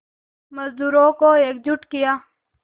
मज़दूरों को एकजुट किया